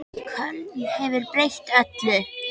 Köln hefur breytt öllu.